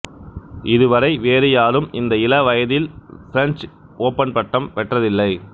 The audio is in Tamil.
இது வரை வேறுயாரும் இந்த இளவயதில் பிரெஞ்சு ஒப்பன் பட்டம் பெற்றதில்லை